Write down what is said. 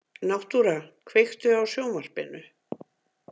Náttúra, kveiktu á sjónvarpinu.